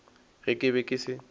ge ke be ke se